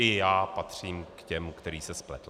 I já patřím k těm, který se spletl.